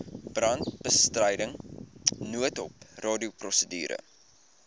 brandbestryding noodhulp radioprosedure